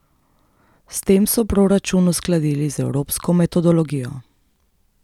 S tem so proračun uskladili z evropsko metodologijo.